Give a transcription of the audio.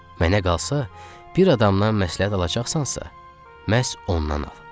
Mənə qalsa, bir adamdan məsləhət alacaqsansa, məhz ondan al.